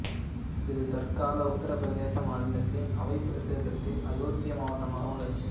இது தற்கால உத்தரப் பிரதேச மாநிலத்தின் அவத் பிரதேசத்தில் அயோத்தி மாவட்டமாக உள்ளது